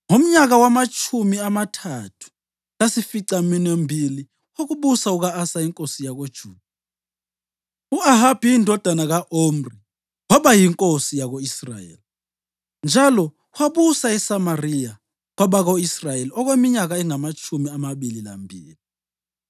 Ngomnyaka wamatshumi amathathu lasificaminwembili wokubusa kuka-Asa inkosi yakoJuda, u-Ahabi indodana ka-Omri waba yinkosi yako-Israyeli, njalo wabusa eSamariya kwabako-Israyeli okweminyaka engamatshumi amabili lambili.